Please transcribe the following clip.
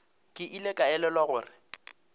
ke ile ka elelwa gore